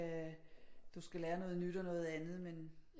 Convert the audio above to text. Lære noget nyt og noget andet men